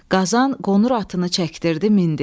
Qazan qonur atını çəkdirib mindi.